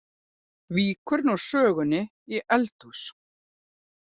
Víkur nú sögunni í eldhús.